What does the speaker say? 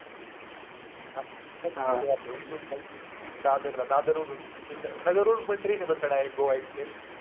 इथून दादरला दादर वरून नगर वरून train पण बर आहे का direct गोवा एक्सप्रेस.